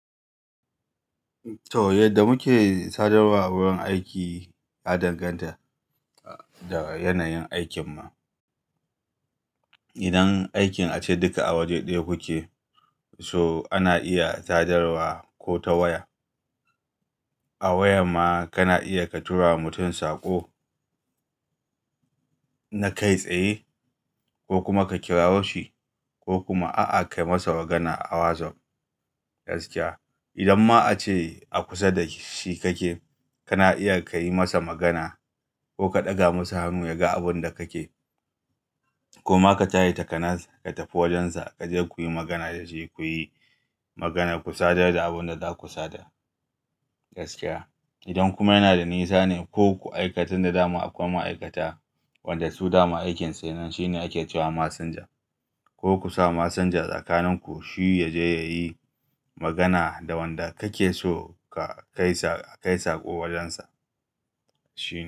Toh, yadda muke sadarwa a wurin aiki ya danganta da yanayin aikinmu. Idan aikin ace duka a waje ɗaya kuke, so ana iya sadarwa ko ta waya. A waya ma kana iya ka tura mutum saƙo na kai tsaye ko kuma ka kirawo shi ko kuma a'a ka yi masa magana a WhatsApp gaskiya. Idan ma a ce a kusa da shi kake, kana iya ka yi masa magana ko ka ɗaga masa hannu ya ga abin da kake. Koma ka taya ta kanas ka tafi wajensa, ka je ku yi magana da shi, ku yi magana, ku sada da abin da za ku sada gaskiya. Idan kuma yana da nisa ne ko ku aikata da dama akwai ma'aikata wanda su dama aikin su ke nan shine ake cewa messenger. Ko ku sa messenger tsakanin ku shi ya je ya yi magana da wanda kake so ka kai saƙo wajensa shi ya.